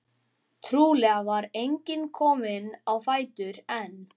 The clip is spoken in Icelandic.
Trúlega var enginn kominn á fætur enn.